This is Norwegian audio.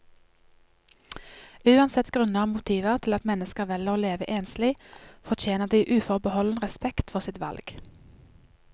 Uansett grunner og motiver til at mennesker velger å leve enslig, fortjener de uforbeholden respekt for sitt valg.